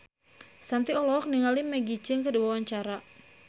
Shanti olohok ningali Maggie Cheung keur diwawancara